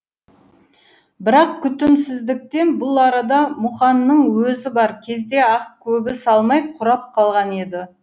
бірақ күтімсіздіктен бұл арада мұқанның өзі бар кезде ақ көбі салмай қурап қалған еді